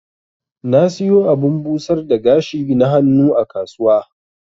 Na siyo abun busar da gashi na hannu a kasuwa.